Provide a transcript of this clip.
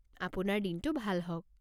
আপোনাৰ দিনটো ভাল হওক!